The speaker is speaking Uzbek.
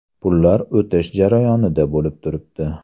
Pullar o‘tish jarayonida bo‘lib turibdi.